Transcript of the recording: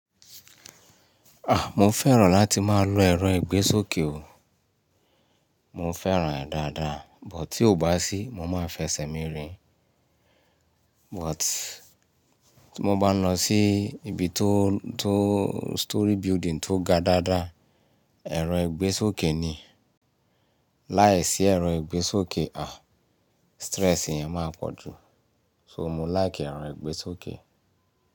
Mo fẹ́ràn láti máa lo ẹ̀rọ ìgbésókè o. Mo fẹ́ràn rẹ̀ dáadáa, but tí ó bá sí, mo máa fẹsẹ̀ mirin. But tí mo bá lọ sí ibi tó, tó story building tó ga dáadáa, ẹ̀rọ ìgbésókè ni. Láìsí ẹ̀rọ ìgbésókè, ah! Stress yẹn máa pọ̀ jù. So mo like ẹ̀rọ ìgbésókè.